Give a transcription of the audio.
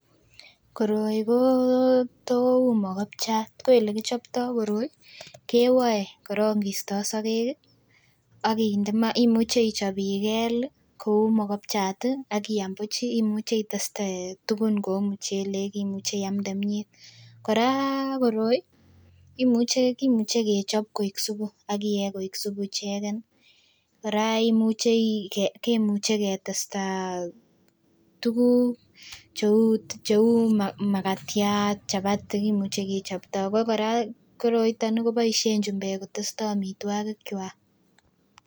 Koroi kotou mogopchap ko elekichoptoo koroi kewoe korong kistoo sogek ih akinde maa. Imuche ichop ikel ih kou mogopchat ih akiam buch ih, imuche iteste tugun kou mchelek imuche iamde myet kora koroi imuche kimuche kechop kou supu akiyee kou supu icheken kora imuche kimuche ketesta tuguk cheu makatiat, chapati kimuche kechopto ako kora koroniton koboisien chumbek ketestoo amitwogik kwak.